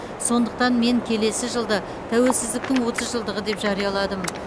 сондықтан мен келесі жылды тәуелсіздіктің отыз жылдығы деп жарияладым